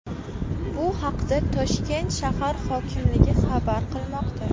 Bu haqda Toshkent shahar hokimligi xabar qilmoqda .